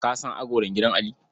Ka san agolar gidan Ali?